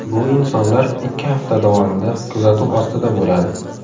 Bu insonlar ikki hafta davomida kuzatuv ostida bo‘ladi.